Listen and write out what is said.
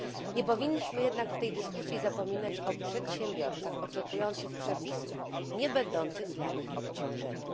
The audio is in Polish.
Nie powinniśmy jednak w tej dyskusji zapominać o przedsiębiorcach, oczekujących przepisów niebędących dla nich obciążeniem.